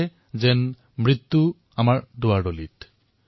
ই আমাক দুৱাৰদলিত মৃত্যুৰ ছবি প্ৰদৰ্শিত কৰে